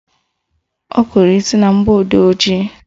Ọ kụrụ isi na mgbọodee ojii